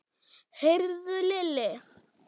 Heyrðu Lilli.